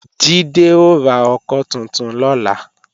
Jídé ó ra ọkọ́ tuntun lọ́la